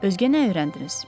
Özgə nə öyrəndiniz?